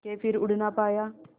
के फिर उड़ ना पाया